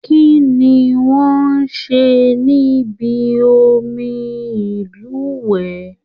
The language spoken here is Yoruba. Kínní wọn ṣe ní bí omi ilúwẹ?